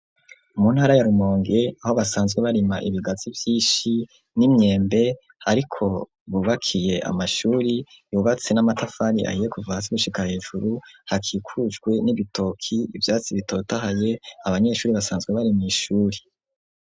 Mu ntara, ya Rumonge, aho basanzwe barima ibigazi vyinshi, n'imyembe; ariko bubakiye amashuri, yubatse n'amatafari ahiye, kuva hasi, gushika hejuru; hakikujwe n'ibitoki, ivyatsi bitotahaye; abanyeshuri, basanzwe bari mw'ishuri.